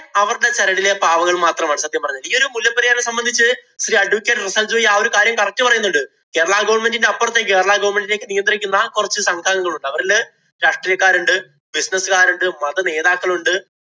അവരുടെ ചരടിലെ പാവകള്‍ മാത്രമാണ് സത്യം പറഞ്ഞാല്‍. ഇയൊരു മുല്ലപ്പെരിയാറിനെ സംബന്ധിച്ച് ശ്രീ advacate റസ്സല്‍ ജോയ് ആ ഒരു കാര്യം correct പറയുന്നുണ്ട്. കേരള government ഇന്‍റെ അപ്പുറത്ത് കേരള government ഇനെ നിയന്ത്രിക്കുന്ന കൊറച്ച് സംഘംഗങ്ങളുണ്ട്. അവരില് രാഷ്ട്രീയക്കാരുണ്ട്, business കാരുണ്ട്, മതനേതാക്കളുണ്ട്,